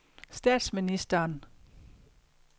statsministeren